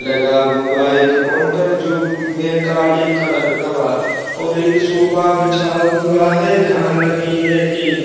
लगा हुआ एक काउंटर जो की है काले कलर का बहार और एक सोफा बिछा हुआ हैं जहाँ लगी हैं टेप ।